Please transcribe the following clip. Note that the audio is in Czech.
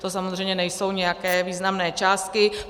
To samozřejmě nejsou nijak významné částky.